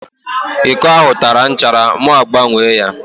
Íkó ahụ tara nchara mụ agbanwee ya